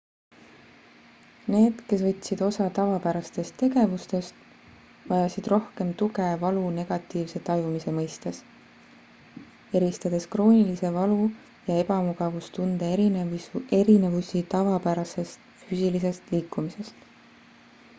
need kes võtsid osa tavapärastest tegevustest vajasid rohkem tuge valu negatiivse tajumise mõistes eristades kroonilise valu ja ebamugavustunde erinevusi tavapärasest füüsilisest liikumisest